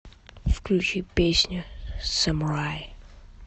включи песня самурай